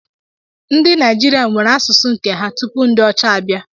Ndị Naịjirịa nwere asụsụ nke ha tupu ndị ọcha abịa.